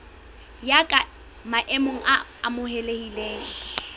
ya ka maemo a amohelehileng